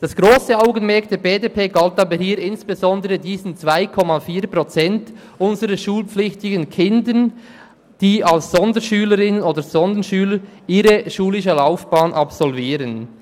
Das Augenmerk der BDP-Fraktion galt aber hier insbesondere diesen 2,4 Prozent unserer schulpflichtigen Kinder, die ihre schulische Laufbahn als Sonderschülerinnen oder Sonderschüler absolvieren.